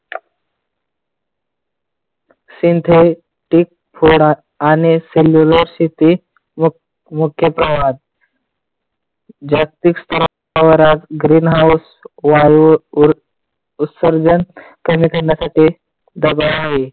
Synthetic फोडा आणि cellular सिती मुख्य प्रवाहात जागतिक स्तरावर green house वायू उत्सर्जन कमी करण्यासाठी डबा आहे.